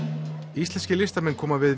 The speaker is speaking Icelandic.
íslenskir listamenn koma